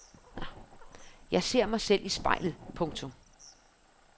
Jeg ser mig selv i spejlet. punktum